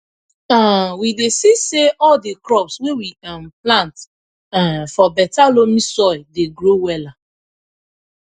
um we dey see say all di crops wey we um plant um for beta loamy soil dey grow wella